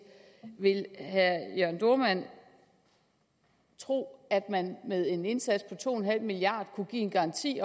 vil herre jørn dohrmann tro at man med en indsats på to milliard kunne give en garanti